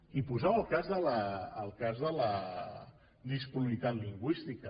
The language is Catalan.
i posava el cas de la disponibilitat lingüística